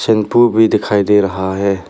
Shampoo भी दिखाई दे रहा है।